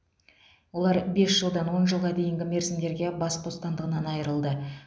олар бес жылдан он жылға дейінгі мерзімдерге бас бостандығынан айырылды